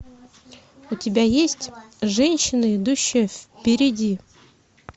у тебя есть женщина идущая впереди